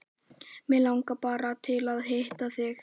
Mig langaði bara til að hitta þig.